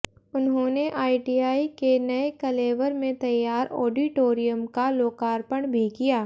उन्होंने आईटीआई के नये कलेवर में तैयार ऑडिटोरियम का लोकार्पण भी किया